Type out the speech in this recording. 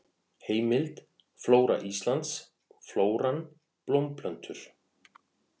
Heimild: Flóra Íslands: Flóran: Blómplöntur.